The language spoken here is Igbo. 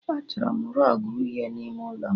Achọrọ m rọgụ uhie n'ime ụlọ m